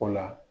O la